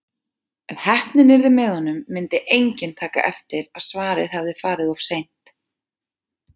Ef heppnin yrði með honum myndi enginn taka eftir að svarið hafði farið of seint.